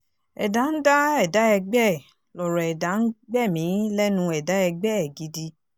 ẹ̀dá ń dá ẹ̀dá ẹgbẹ́ ẹ̀ lọ̀rọ̀ ẹ̀dá ń gbẹ̀mí lẹ́nu ẹ̀dá ẹgbẹ́ ẹ̀ gidi